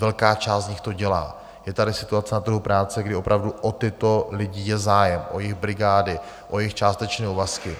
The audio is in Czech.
Velká část z nich to dělá, je tady situace na trhu práce, kdy opravdu o tyto lidi je zájem, o jejich brigády, o jejich částečné úvazky.